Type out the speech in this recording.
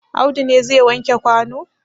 Audu ne zai wanke kwano?